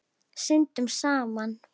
Syndum saman.